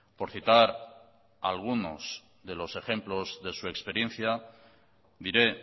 por citar algunos de los ejemplos de su experiencia diré